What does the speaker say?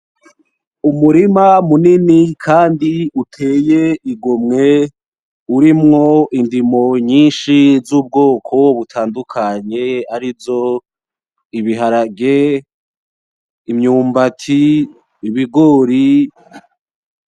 Umurima munini kandi uteye igomwe urimwo indimo nyinshi z'ubwoko butandukanye arizo ibiharage ,imyumbati, ibigori.